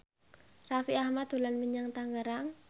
Raffi Ahmad dolan menyang Tangerang